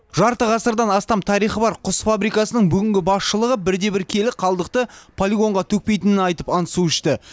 жарты ғасырдан астам тарихы бар құс фабрикасының бүгінгі басшылығы бірде бір келі қалдықты полигонға төкпейтінін айтып ант су ішті